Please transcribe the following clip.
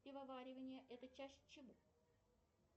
пивоварение это часть чего